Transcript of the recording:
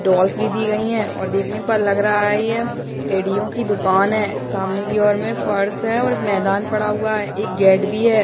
डोलस भी दी गईं हैं और देखने पर लग रहा है ये टेडियों की दुकान है सामने की ओर में फर्श है और मैदान पड़ा हुआ हैएक गेट भी है ।